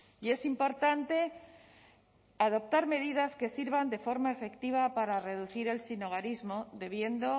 y es importante adoptar medidas que sirvan de forma efectiva para reducir el sinhogarismo debiendo